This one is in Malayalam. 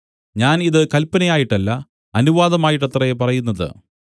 ഞാൻ ഇത് കല്പനയായിട്ടല്ല അനുവാദമായിട്ടത്രേ പറയുന്നത്